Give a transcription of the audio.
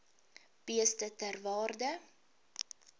beeste ter waarde